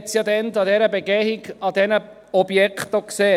Man hat es ja damals an dieser Begehung bei diesen Objekten auch gesehen.